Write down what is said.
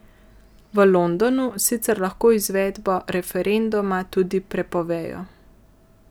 V Londonu sicer lahko izvedbo referenduma tudi prepovejo.